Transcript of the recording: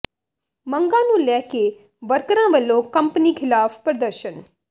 ਮੰਗਾਂ ਨੂੰ ਲੈ ਕੇ ਵਰਕਰਾਂ ਵੱਲੋਂ ਕੰਪਨੀ ਖ਼ਿਲਾਫ਼ ਪ੍ਰਦਰਸ਼ਨ